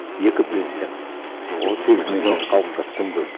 екі президент он сегіз миллион халыққа тым көп